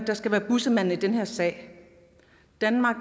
der skal være bussemand i den her sag danmark